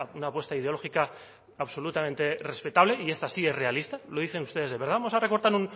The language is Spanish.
una apuesta ideológica absolutamente respetable y esta sigue realista lo dicen ustedes vamos a recortar